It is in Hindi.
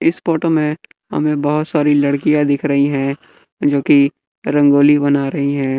इस फोटो में हमें बहोत सारी लड़कियां दिख रही है जो की रंगोली बना रही है।